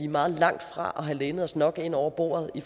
meget langt fra at have lænet os nok ind over bordet i